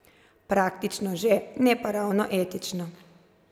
Praktično že, ne pa ravno etično.